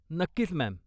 नक्कीच, मॅम.